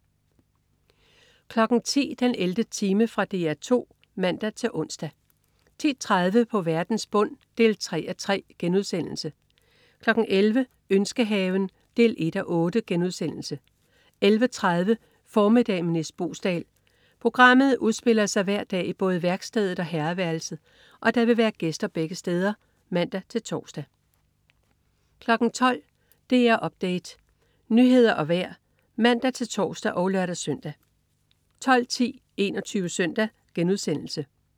10.00 den 11. time. Fra DR 2 (man-ons) 10.30 På verdens bund 3:3* 11.00 Ønskehaven 1:8* 11.30 Formiddag med Nis Boesdal. Programmet udspiller sig hver dag i både værkstedet og herreværelset, og der vil være gæster begge steder (man-tors) 12.00 DR Update. Nyheder og vejr (man-tors og lør-søn) 12.10 21 Søndag*